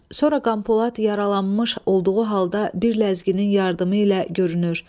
Sonra Qanpolad yaralanmış olduğu halda bir ləzginin yardımı ilə görünür.